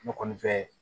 Ne kɔni fɛ